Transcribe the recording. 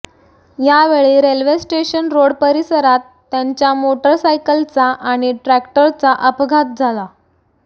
यावेळी railway station road परिसरात त्यांच्या मोटरसायकलचा आणि ट्रॅक्टरचा अपघात झाला